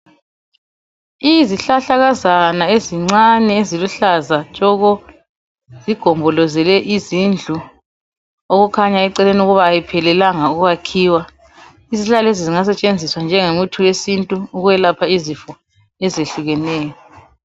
Izihlahlakazana ezincane eziluhlaza tshoko, zigombolozele indlu okukhanya eceleni ukuba ayiphelelanga ukwakhiwa. Izihlahla lezi zingasetshenziswa njengomuthi wesintu ukwelapha izifo ezehlukeneyo.